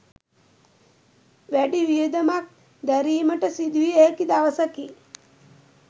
වැඩි වියදමක් දැරීමට සිදුවිය හැකි දවසකි.